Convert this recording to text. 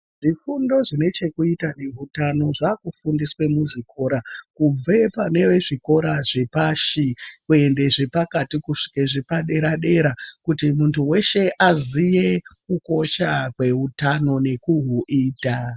Zvifundo zvinechekuita neutano zvakufundiswa muzvikora kubva pane zvikora zvepashi kuenda zvepakati vasvike zvepadera dera kuti muntu weshe azive kukosha kweutano nekuhuita.